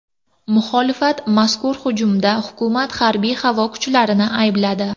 Muxolifat mazkur hujumda hukumat harbiy-havo kuchlarini aybladi.